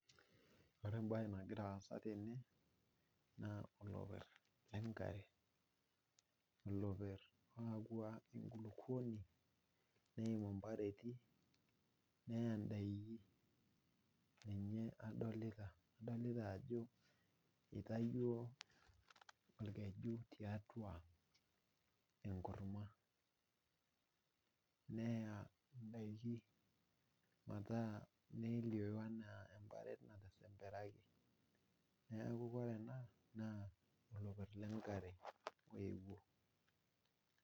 Ore embae nagira aasa tene naaoloper lenkare ,oloper oyaua enkukupuoni ,neimu mpareti nayau ndaiki ,ninye adolita. adolita ajo eitayio orkeju tiatua enkurma ,neya ndaiki nelioyu enaa emparet natisimpiraki ,neeku ore enaa naaa olopir lenkare oyeuo.